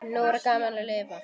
Nú er gaman að lifa!